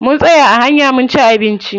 Mun tsaya a hanya munci abinci.